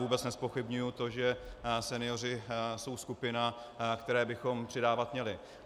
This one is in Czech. Vůbec nezpochybňuji to, že senioři jsou skupina, které bychom přidávat měli.